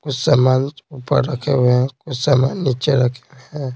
कुछ समान ऊपर रखे हुए हैं कुछ समान नीचे रखे हुए हैं।